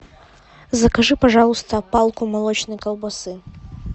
закажи пожалуйста палку молочной колбасы